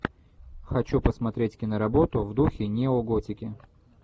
хочу посмотреть киноработу в духе неоготики